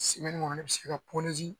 kɔnɔ ne bɛ se ka